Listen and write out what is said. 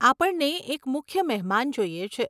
આપણને એક મુખ્ય મહેમાન જોઈએ છે.